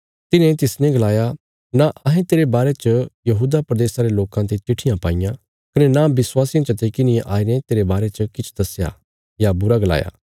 तिन्हें तिसने गलाया नां अहें तेरे बारे च यहूदा प्रदेशा रे लोकां ते चिट्ठियां पाईयां कने नां विश्वासियां चते किन्हिये आईने तेरे बारे च किछ दस्या या बुरा गलाया